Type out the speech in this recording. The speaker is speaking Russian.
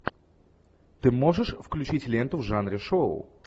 ты можешь включить ленту в жанре шоу